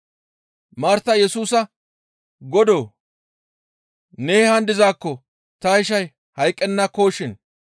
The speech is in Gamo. Martay Yesusa, «Godoo! Ne haan dizaakko ta ishay hayqqennakoshin.